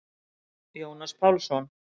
Jónas Pálsson.